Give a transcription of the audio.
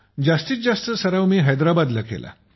जास्तीतजास्त सराव मी हैद्राबाद ला केला आहे